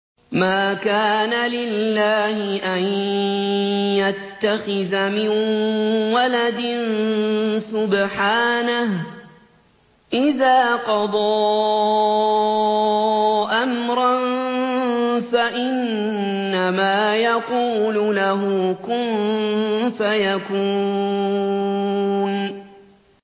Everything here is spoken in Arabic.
مَا كَانَ لِلَّهِ أَن يَتَّخِذَ مِن وَلَدٍ ۖ سُبْحَانَهُ ۚ إِذَا قَضَىٰ أَمْرًا فَإِنَّمَا يَقُولُ لَهُ كُن فَيَكُونُ